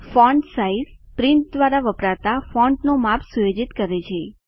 font size print દ્વારા વપરાતા ફોન્ટનું માપ સુયોજિત કરે છે